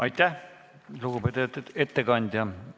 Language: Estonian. Aitäh, lugupeetud ettekandja!